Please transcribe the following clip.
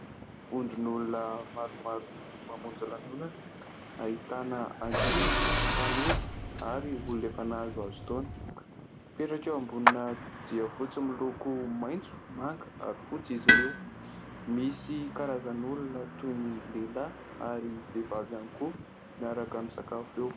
Vondron'olona maromaro mamonjy lanonana, ahitana ankizy, tanora, ary olona efa nahazoazo taona; mipetraka eo ambonina jiafotsy miloko maitso, manga, ary fotsy izy ireo. Misy karazan'olona toy ny lehilahy ary vehivavy ihany koa miaraka misakafo eo.